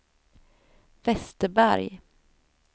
Westerberg